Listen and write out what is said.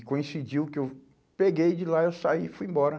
E coincidiu que eu peguei de lá, eu saí e fui embora.